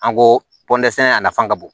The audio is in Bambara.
An ko pɔndɛsɛnɛ a nafa ka bon